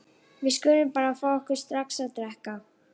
Við skulum bara fá okkur strax að drekka.